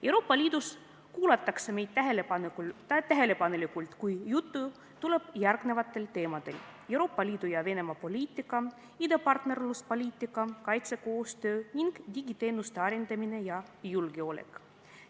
Euroopa Liidus kuulatakse meid tähelepanelikult, kui juttu tuleb järgmistel teemadel: Euroopa Liidu ja Venemaa poliitika, idapartnerluspoliitika, kaitsekoostöö ning digiteenuste arendamine ja julgeolek.